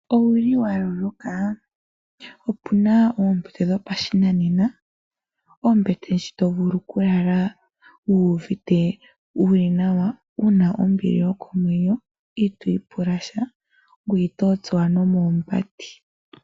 Owu li wa loloka, opuna oombete dho mpa shinane. Ombete ndji to vulu okulala wu vite wu li nawa, una ombili yokomwenyo itwiipula sha ngweye ito tsuwa nomoombati.